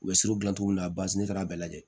U bɛ surun gilan cogo la basi tɛ taa a bɛɛ lajɛ